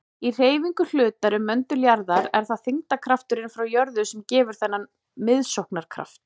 Í hreyfingu hlutar um möndul jarðar er það þyngdarkrafturinn frá jörð sem gefur þennan miðsóknarkraft.